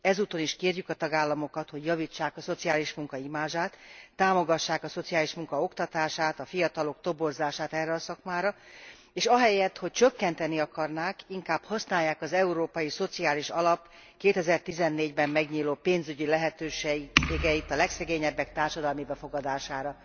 Ezúton is kérjük a tagállamokat, hogy javítsák a szociális munka imázsát, támogassák a szociális munka oktatását, a fiatalok toborzását erre a szakmára, és ahelyett, hogy csökkenteni akarnák, inkább használják az Európai Szociális Alap 2014 ben megnyíló pénzügyi lehetőségeit a legszegényebbek társadalmi befogadására.